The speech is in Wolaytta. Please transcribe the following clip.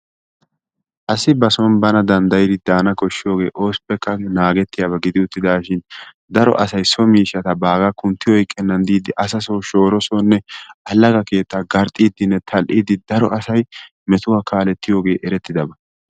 Asi ba soon bana danddaydi daana koshsiyooge oopekka naagetiyaaba gidi uttidashin daro asay so miishshata bagga kuntti oyqqenan diidi asa soo shoora soonne alagga keetta garxxiidinne tal''idi metuwa kaaletiyooge erettidaaba.